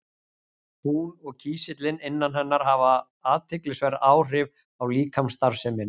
Hún og kísillinn innan hennar hafa athyglisverð áhrif á líkamsstarfsemina.